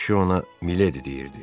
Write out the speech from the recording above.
Kişi ona Miledi deyirdi.